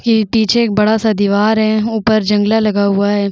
ये पीछे एक बड़ा सा दिवार है ऊपर जंगला लगा हुआ है।